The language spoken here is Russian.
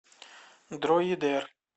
дроидер